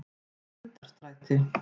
Grundarstræti